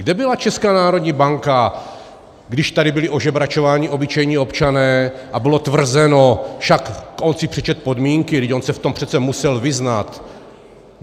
Kde byla Česká národní banka, když tady byli ožebračováni obyčejní občané a bylo tvrzeno "však on si přečetl podmínky, vždyť on se v tom přece musel vyznat"?